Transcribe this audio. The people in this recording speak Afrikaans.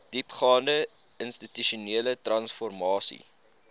diepgaande institusionele transformasie